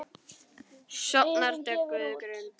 Sofnar döggvuð grund.